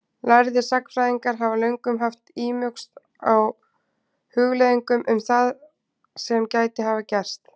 Lærðir sagnfræðingar hafa löngum haft ímugust á hugleiðingum um það sem gæti hafa gerst.